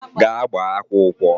Gaa gbaa akwụkwọ!